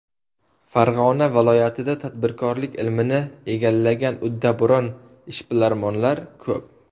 Farg‘ona viloyatida tadbirkorlik ilmini egallagan uddaburon ishbilarmonlar ko‘p.